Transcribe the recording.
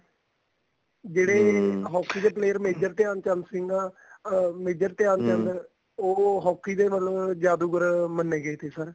ਤੇ hockey ਦੇ player major Dhyan Chand Singh ਆ ਅਹ ਮੇਜਰ ਧਿਆਨ ਚੰਦ ਉਹ hockey ਦੇ ਮਤਲਬ ਜਾਦੂਗਰ ਮੰਨੇ ਗਏ ਸੀ sir